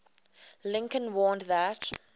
lincoln warned that